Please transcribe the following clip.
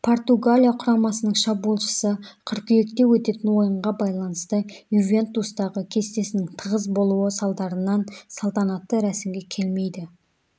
португалия құрамасының шабуылшысы қыркүйекте өтетін ойынға байланысты ювентустағы кестесінің тығыз болуы салдарынан салтанатты рәсімге келмейді